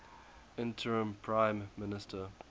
interim prime minister